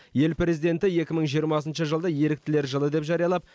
ел президенті екі мың жиырмасыншы жылды еріктілер жылы деп жариялап